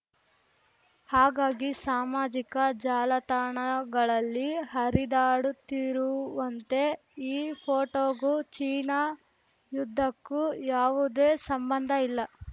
ಹಾಗಾಗಿ ಸಾಮಾಜಿಕ ಜಾಲತಾಣಗಳಲ್ಲಿ ಹರಿದಾಡುತ್ತಿರುವಂತೆ ಈ ಫೋಟೋಗೂ ಚೀನಾ ಯುದ್ಧಕ್ಕೂ ಯಾವುದೇ ಸಂಬಂಧ ಇಲ್ಲ